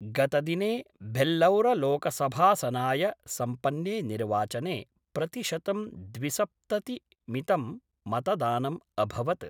गतदिने भेल्लौरलोकसभासनाय सम्पन्ने निर्वाचने प्रतिशतं द्विसप्ततिमितं मतदानम् अभवत्।